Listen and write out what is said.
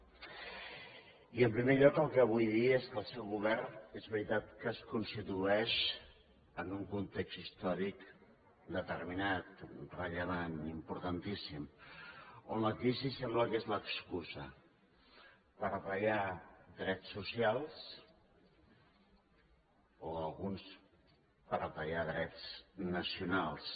i en primer lloc el que li vull dir és que el seu govern és veritat que es constitueix en un context històric determinat rellevant importantíssim on la crisi sembla que és l’excusa per retallar drets socials o a alguns per retallar drets nacionals